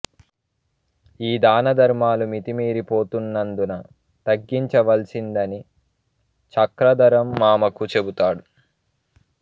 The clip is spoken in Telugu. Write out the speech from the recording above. ఈ దానధర్మాలు మితిమీరి పోతున్నందున తగ్గించవలసిందని చక్రధరం మామకు చెబుతాడు